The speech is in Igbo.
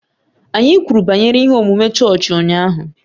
Anyị kwuru banyere ihe omume chọọchị ụnyaahụ